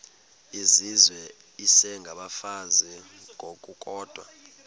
izizwe isengabafazi ngokukodwa